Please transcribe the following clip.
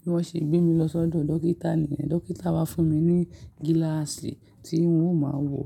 Bi wọ́n ṣe gbé mi lọ sọ́dọ̀ dókítà. Dókítà wá fún mi ní gílàsì tí n ó máa ń wọ̀